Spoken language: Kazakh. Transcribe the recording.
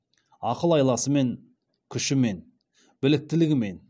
ақыл айласымен күшімен біліктілігімен